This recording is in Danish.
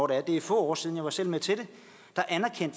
det er få år siden for jeg var selv med til det